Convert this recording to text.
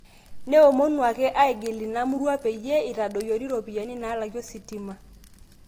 Neomono ake aigil memurua peyia itadoyiori iropiyiani naalaki ositima